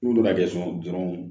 N'olu ka jɛson dɔrɔnw